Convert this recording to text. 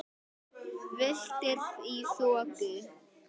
Villtir í þoku